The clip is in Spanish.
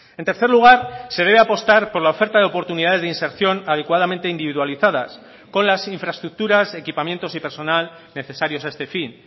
en tercer lugar se debe apostar por la oferta de oportunidades de inserción adecuadamente individualizadas con las infraestructuras equipamientos y personal necesarios a este fin